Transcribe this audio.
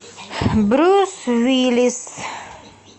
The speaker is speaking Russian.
брюс уиллис